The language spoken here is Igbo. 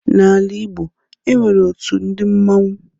N'ala Ịgbo, e nwere otu ndị mmanwu.